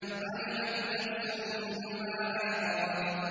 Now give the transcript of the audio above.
عَلِمَتْ نَفْسٌ مَّا أَحْضَرَتْ